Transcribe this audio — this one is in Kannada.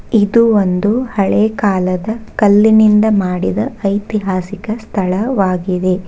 ಇದು ಒಂದು ಹಳೆ ಕಾಲದ ಕಲ್ಲಿನಿಂದ ಮಾಡಿದ ಐತಿಹಾಸಿಕ ಸ್ಥಳವಾಗಿದೆ.